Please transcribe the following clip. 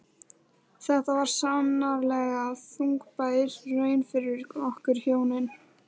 Þetta var sannarlega þungbær raun fyrir okkur hjónin.